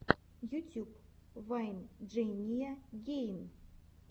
ютюб вайн джейния гейн